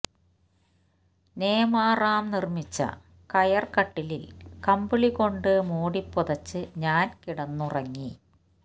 നേമാറാം നിർമിച്ച കയർ കട്ടിലിൽ കമ്പിളി കൊണ്ട് മൂടിപ്പുതച്ച് ഞാൻ കിടന്നുറങ്ങി